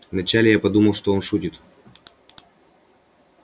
вначале я подумал что он шутит